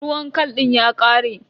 Ruwan khal din ya ƙare.